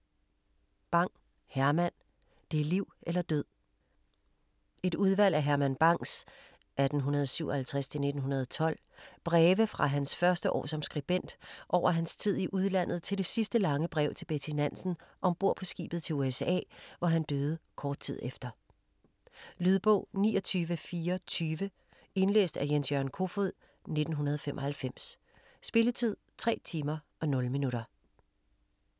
Bang, Herman: Det er liv eller død Et udvalg af Herman Bangs (1857-1912) breve fra hans første år som skribent over hans tid i udlandet til det sidste lange brev til Betty Nansen ombord på skibet til USA, hvor han døde kort tid efter. Lydbog 29420 Indlæst af Jens-Jørgen Kofod, 1995. Spilletid: 3 timer, 0 minutter.